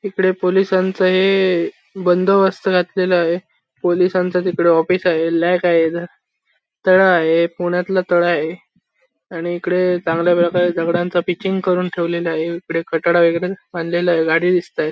इकडे पोलिसांच हे बंदोबस्त घातलेला आहे पोलिसांच तिकड ऑफिस आहे लॅक आहे इथ तळ आहे पुण्यातल तळ आहे आणि इकडे चांगल्या प्रकारे दगडांच पिचिंग करून ठेवलेल आहे इकडे कठडा वगैरे बांधलेला आहे गाडी दिसतायत.